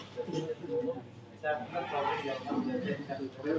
Sən tərəfdən göndəriləcək.